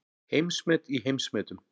Heimsmet í heimsmetum